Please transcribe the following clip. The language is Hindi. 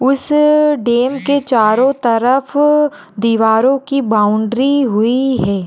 उस डेम चारो तरफ दीवार की बाउंड्री बनी हुई है।